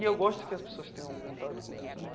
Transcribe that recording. E eu gosto que as pessoas tenham contato com isso né.